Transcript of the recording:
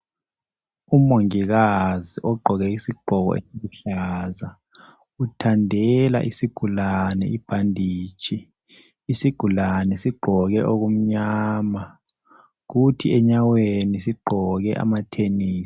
Umongikazi ogqoke isigqoko esiluhlaza uthandela isigulane ibhanditshi . isigulanie sigqoke okumnyama kuthi enyaweni sigqoke amathenisi .